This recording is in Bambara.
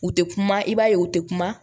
U tɛ kuma i b'a ye u tɛ kuma